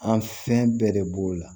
An fɛn bɛɛ de b'o la